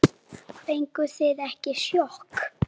Fenguð þið ekki sjokk?